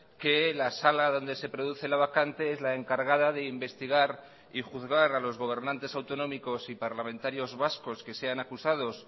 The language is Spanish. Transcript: que la sala donde se produce la vacante es la encargada de investigar y juzgar a los gobernantes autonómicos y parlamentarios vascos que sean acusados